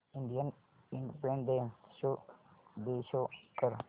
Indian independence day show कर